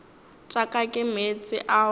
tša ka ke meetse ao